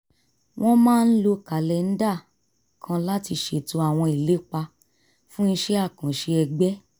wọ́n máa ń lo kàlẹ́ńdà kan láti ṣètò àwọn ìlépa fún iṣẹ́ àkànṣe ẹgbẹ́